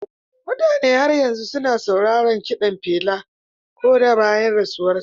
Mutane har yanzu suna sauraron kiɗan Pela ko da bayan rasuwarsa.